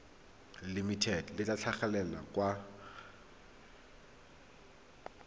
limited le tla tlhagelela kwa